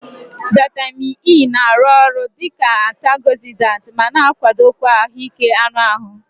Vitamin E na-arụ ọrụ dị ka antiogzidant ma na-akwado ahụike anụ ahụ.